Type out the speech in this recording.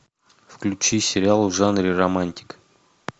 включи сериал в жанре романтика